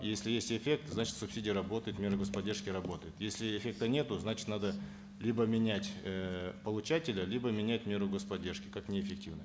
если есть эффект значит субсидии работают меры гос поддержки работают если эффекта нету значит надо либо менять э получателя либо менять меру гос поддержки как неэффективную